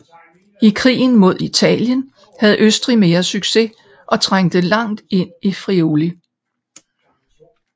I krigen mod Italien havde Østrig mere succes og trængte langt ind i Friuli